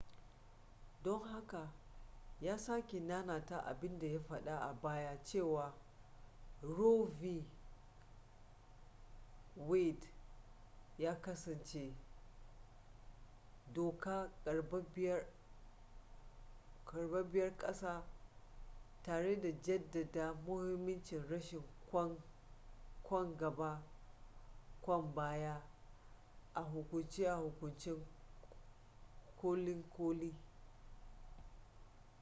don haka ya sake nanata abinda ya fada a baya cewa roe v wade ya kasance doka karbabbiya ar ƙasa tare da jaddada mahimmancin rashin kwan gaba kwan baya a hukunce-hukunce kolin koli